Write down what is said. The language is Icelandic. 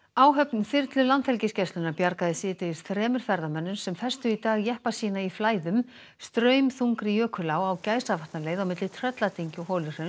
áhöfn þyrlu Landhelgisgæslunnar bjargaði síðdegis þremur ferðamönnum sem festu í dag jeppa sína í Flæðum straumþungri jökulá á Gæsavatnaleið á milli Trölladyngju og